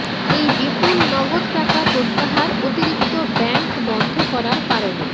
এই বিপুল নগদ টাকা প্রত্যাহার অতিরিক্ত ব্যাংক বন্ধ করার কারণে